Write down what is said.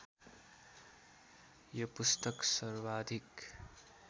यो पुस्तक सर्वाधिक